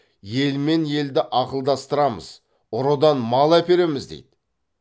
елмен елді ақылдастырамыз ұрыдан мал әпереміз дейді